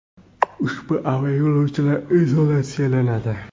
Ushbu aviayo‘lovchilar izolyatsiyalanadi.